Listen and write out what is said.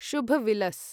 शुभ विलस्